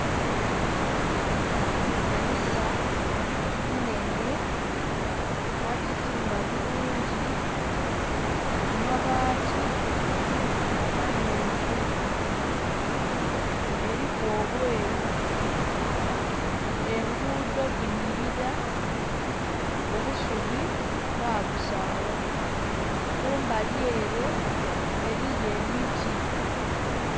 Kanisa inhenhe bagyizimba bulungi amabaati mamyuufu eliku obweru enguudo dhinhilira obusubi babusaawa kumbali ere eliyo emiti